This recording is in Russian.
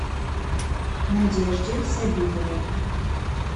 надежде сабитовой